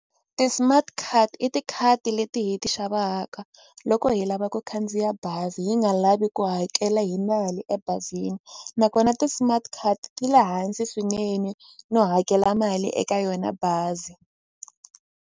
Ti-smart card i tikhadi leti hi ti xavaka loko hi lava ku khandziya bazi hi nga lavi ku hakela hi mali ebazini nakona ti-smart card ti le hansi swinene no hakela mali eka yona bazi.